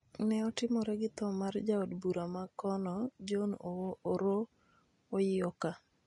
ne otimore gi tho mar jaod bura ma kono, John Oroo Oyioka.